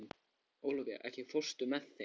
Ólafía, ekki fórstu með þeim?